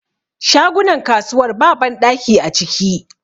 Shagunan kasuwar ba banɗaki a ciki